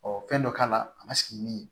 fɛn dɔ k'a la a ma sigi ni min ye